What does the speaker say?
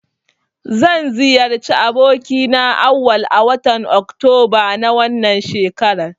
Zan ziyarci abokina Auwal a watan oktoba na wannan shekarar.